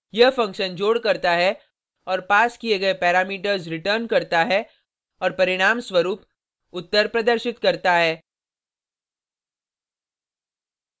यह फंक्शन जोड करता है और पास किये गये पैरामीटर्स रिटर्न करता है और परिणामस्वरुप उत्तर प्रदर्शित करता है